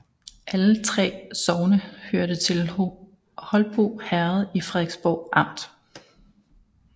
Alle 3 sogne hørte til Holbo Herred i Frederiksborg Amt